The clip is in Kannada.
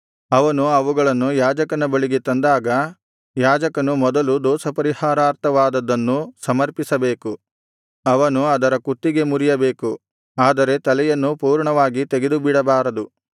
ಅವನು ಅವುಗಳನ್ನು ಯಾಜಕನ ಬಳಿಗೆ ತಂದಾಗ ಯಾಜಕನು ಮೊದಲು ದೋಷಪರಿಹಾರಾರ್ಥವಾದದ್ದನ್ನು ಸಮರ್ಪಿಸಬೇಕು ಅವನು ಅದರ ಕುತ್ತಿಗೆ ಮುರಿಯಬೇಕು ಆದರೆ ತಲೆಯನ್ನು ಪೂರ್ಣವಾಗಿ ತೆಗೆದುಬಿಡಬಾರದು